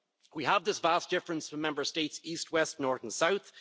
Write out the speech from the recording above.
We have this vast difference from Member States east, west, north and south